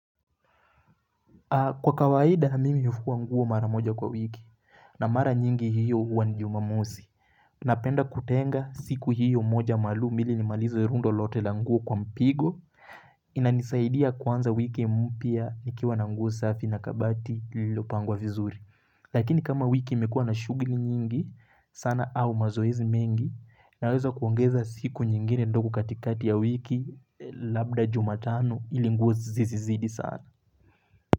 Kwa kawaida, mimi hufua nguo mara moja kwa wiki, na mara nyingi hiyo huwa ni jumamosi. Napenda kutenga siku hiyo moja maluum ili ni malize rundo lote la nguo kwa mpigo, inanisaidia kwanza wiki mpya nikiwa na nguo safi na kabati lililopangwa vizuri. Lakini kama wiki imekua na shughuli nyingi, sana au mazoezi mengi, naweza kuongeza siku nyingine ndogo katikati ya wiki, labda jumatano ili nguo zizizidi sana.